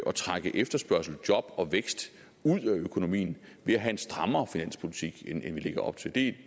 at trække efterspørgsel job og vækst ud af økonomien ved at have en strammere finanspolitik end vi lægger op til det